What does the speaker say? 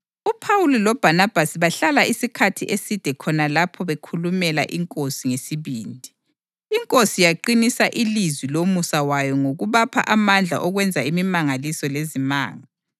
UPhawuli loBhanabhasi bahlala isikhathi eside khona lapho bekhulumela iNkosi ngesibindi. INkosi yaqinisa ilizwi lomusa wayo ngokubapha amandla okwenza imimangaliso lezimanga.